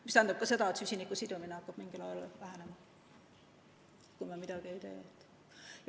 See tähendab ka seda, et süsiniku sidumine hakkab mingil ajal vähenema, kui me midagi ei tee.